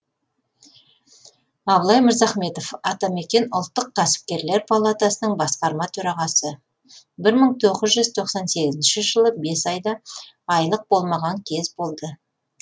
абылай мырзахметов атамекен ұлттық кәсіпкерлер палатасының басқарма төрағасы бір мың тоғыз жүз тоқсан сегізінші жылы бес айдай айлық болмаған кез болды